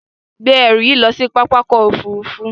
Gbé ẹrù yìí lọ sí pápákọ̀-òfurufú.